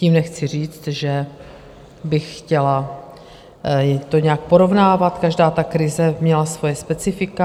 Tím nechci říct, že bych to chtěla nějak porovnávat, každá ta krize měla svoje specifika.